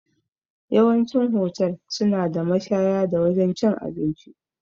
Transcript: Yawancin hotel suna da mashaya da wajan cin abinci